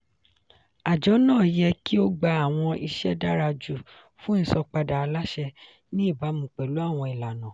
àjọ náà yẹ kí ó gba àwọn ìṣe dára jù fún ìsanpadà aláṣẹ ní ìbámu pẹ̀lú àwọn ìlànà.